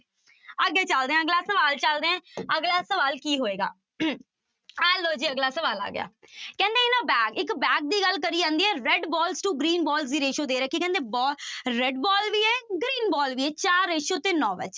ਅੱਗੇ ਚੱਲਦੇ ਹਾਂ ਅਗਲਾ ਸਵਾਲ ਚੱਲਦੇ ਹਾਂ ਅਗਲਾ ਸਵਾਲ ਕੀ ਹੋਏਗਾ ਆਹ ਲਓ ਜੀ ਅਗਲਾ ਸਵਾਲ ਆ ਗਿਆ ਕਹਿੰਦੇ in a bag ਇੱਕ bag ਦੀ ਗੱਲ ਕਰੀ ਜਾਂਦੀ ਹੈ red balls to green balls ਦੀ ਦੇ ਰੱਖੀ ਕਹਿੰਦੇ ਬਾ red ball ਵੀ ਹੈ green ball ਵੀ ਹੈ ਚਾਰ ratio ਤੇ ਨੋਂ